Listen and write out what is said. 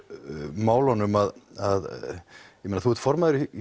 málunum að ég meina þú ert formaður í